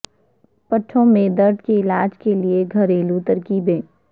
پٹھوں میں درد کے علاج کے لیے گھریلو ترکیبیں